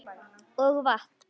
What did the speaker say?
Og vatn.